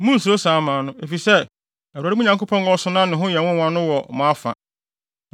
Munnsuro saa aman no, efisɛ Awurade, mo Nyankopɔn, a ɔso na ne ho yɛ nwonwa no wɔ mo afa.